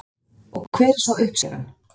Og hver er svo uppskeran?